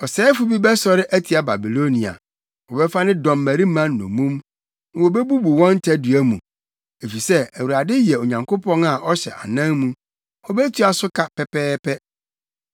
Ɔsɛefo bi bɛsɔre atia Babilonia; wɔbɛfa ne dɔmmarima nnommum na wobebubu wɔn tadua mu. Efisɛ Awurade yɛ Onyankopɔn a ɔhyɛ anan mu; obetua so ka pɛpɛɛpɛ.